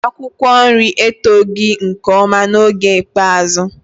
Akwụkwọ nri eto nke ọma n'oge ikpeazụ.